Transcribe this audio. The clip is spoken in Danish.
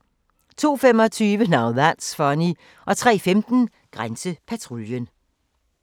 02:25: Now That's Funny 03:15: Grænsepatruljen